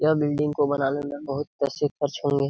यह बिल्डिंग को बनाने में बहुत पैसे खर्च होंगे ।